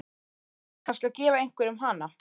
Ætlarðu kannski að gefa einhverjum hana?